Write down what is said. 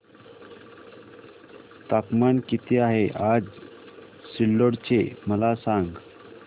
तापमान किती आहे आज सिल्लोड चे मला सांगा